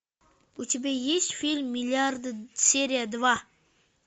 у тебя есть фильм миллиарды серия два